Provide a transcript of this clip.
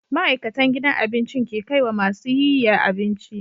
Ma'aikatan gidan abincin ke kaiwa masu yiya abinci